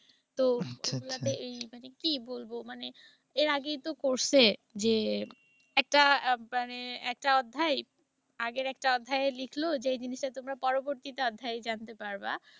তা স্কুলগুলোতে কি মানে কি বলবো। মানে এর আগেই তো করসে যে একটা মানে একটা অধ্যায় আগের একটা অধ্যায়ে লিখল যে এই জিনিসটা তোমরা পরবর্তীতে অধ্যায় জানতে পারবা।